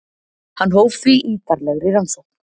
Hann hóf því ítarlegri rannsókn.